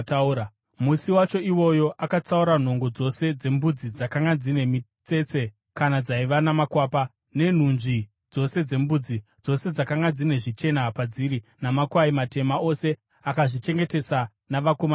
Musi wacho iwoyo akatsaura nhongo dzose dzembudzi dzakanga dzine mitsetse kana dzaiva namakwapa, nenhunzvi dzose dzembudzi (dzose dzakanga dzine zvichena padziri) namakwayana matema ose, akazvichengetesa navanakomana vake.